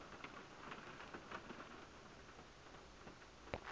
verneging